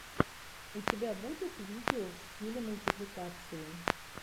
у тебя будет видео в стиле мультипликации